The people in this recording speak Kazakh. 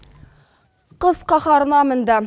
қыс қаһарына мінді